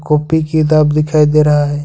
Copy किताब दिखाई दे रहा है।